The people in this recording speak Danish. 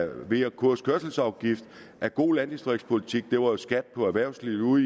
v og ks kørselsafgift er god landdistriktspolitik det var jo skat på erhvervslivet ude